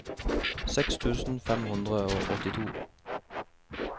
seks tusen fem hundre og åttito